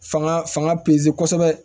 Fanga fanga pezeli kɔsɛbɛ